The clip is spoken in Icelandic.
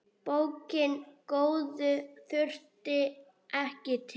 Bókina góðu þurfti ekki til.